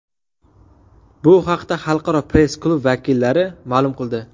Bu haqda Xalqaro press-klub vakillari ma’lum qildi.